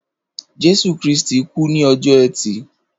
Jésù Krìstí kù ni ọjọ ẹti